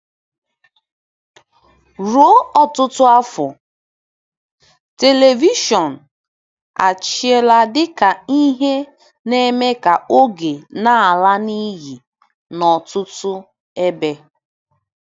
Ruo ọtụtụ afọ, telivishọn achịla dị ka ihe na-eme ka oge na-ala n'iyi n'ọtụtụ ebe.